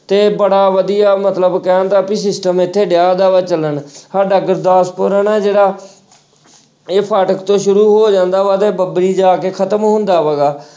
ਤੇ ਬੜਾ ਵਧੀਆ ਮਤਲਬ ਕਹਿਣ ਦਾ ਵੀ system ਇੱਥੇ ਚੱਲਣ ਸਾਡਾ ਗੁਰਦਾਸਪੁਰ ਹਨਾ ਜਿਹੜਾ ਇਹ ਫਾਟਕ ਤੋਂ ਸ਼ੁਰੂ ਹੋ ਜਾਂਦਾ ਵਾ ਤੇ ਬੱਬਰੀ ਜਾ ਕੇ ਖ਼ਤਮ ਹੁੰਦਾ ਹੈਗਾ।